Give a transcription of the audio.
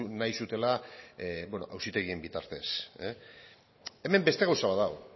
nahi zutela auzitegien bitartez hemen beste gauza bat dago